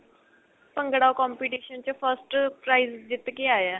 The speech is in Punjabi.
ਭੰਗੜਾ competition ਚ first price ਜਿੱਤ ਕੇ ਆਇਆ